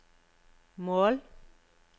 mål